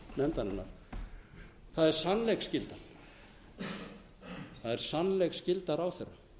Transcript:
tala fyrir hönd nefndarinnar það er sannleiksskyldan það er sannleiksskyldan ráðherra